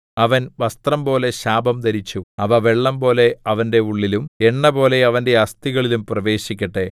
അവൻ വസ്ത്രംപോലെ ശാപം ധരിച്ചു അവ വെള്ളംപോലെ അവന്റെ ഉള്ളിലും എണ്ണപോലെ അവന്റെ അസ്ഥികളിലും പ്രവേശിക്കട്ടെ